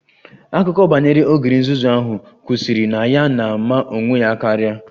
Akụkọ banyere ogre nzuzu ahụ kwụsịrị na ya na-ama onwe ya karịa